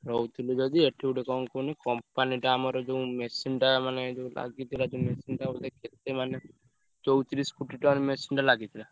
~ରହୁ ~ଥିଲି ଯଦି ଏଠି ଗୋଟେ କଣ କୁହନି company ଟା ଆମର ଯୋଉ machine ଟା ମାନେ ଯୋଉ ଲାଗିଥିଲା ଯୋଉ machine ଟା ବୋଧେ ମାନେ ~ଚଉ ~ତିରିଶି foot ଟାର machine ଟା ଲାଗିଥିଲା।